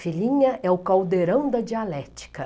Filhinha, é o caldeirão da dialética.